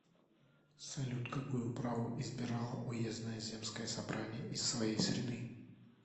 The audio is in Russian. салют какую управу избирало уездное земское собрание из своей среды